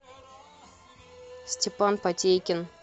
степан потейкин